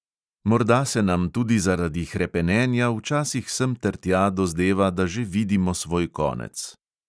Morda se nam tudi zaradi hrepenenja včasih semtertja dozdeva, da že vidimo svoj konec.